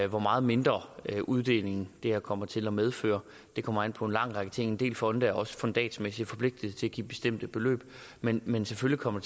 hvor meget mindre uddeling det her kommer til at medføre det kommer an på en lang række ting en del fonde er også fundatsmæssigt forpligtet til at give bestemte beløb men men selvfølgelig kommer